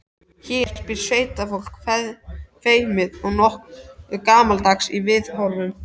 Hér býr sveitafólk, feimið og nokkuð gamaldags í viðhorfum.